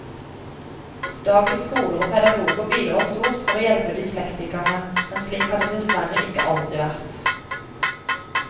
Dagens skoler og pedagoger bidrar stort for å hjelpe dyslektikerne, men slik har det dessverre ikke alltid vært.